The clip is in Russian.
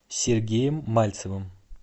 сергеем мальцевым